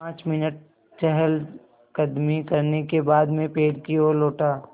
पाँच मिनट चहलकदमी करने के बाद मैं पेड़ की ओर लौटा